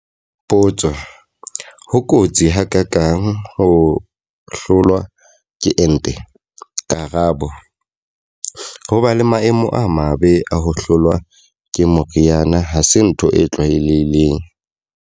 Potso. Ho kotsi ha ka kang ho hlolwa ke ente? Karabo. Ho ba le maemo a mabe a ho hlolwa ke moriana ha se ntho e tlwaelehileng.